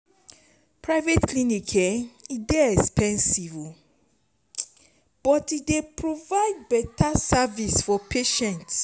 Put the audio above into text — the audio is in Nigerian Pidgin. private clinic dey expensive but e dey provide beta service for patients.